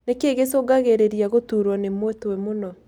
Nĩkĩĩ gĩcungagĩrĩria gũturwo nĩ mũtwe mũno